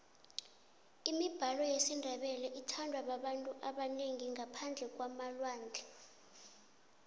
imibalo yesindebele ithandwa babanyu abanengi ngaphandle kwamalwandle